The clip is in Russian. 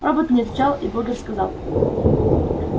робот не отвечал и богерт сказал